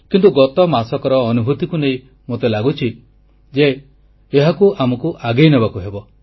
କିନ୍ତୁ ଗତ ମାସକର ଅନୁଭୂତିକୁ ନେଇ ମୋତେ ଲାଗୁଛି ଯେ ଏହାକୁ ଆମକୁ ଆଗେଇ ନେବାକୁ ହେବ